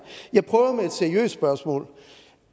jeg prøver med et seriøst spørgsmål